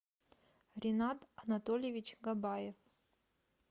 ренат анатольевич габаев